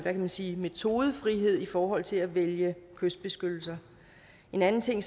man sige metodefrihed i forhold til at vælge kystbeskyttelse en anden ting